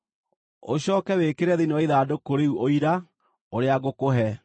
Ũcooke wĩkĩre thĩinĩ wa ithandũkũ rĩu Ũira, ũrĩa ngũkũhe.